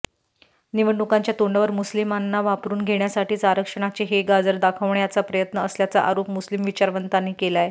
निवडणुकांच्या तोंडावर मुस्लिमांना वापरून घेण्यासाठीच आरक्षणाचे हे गाजर दाखवण्याचा प्रयत्न असल्याचा आरोप मुस्लिम विचारवंतांनी केलाय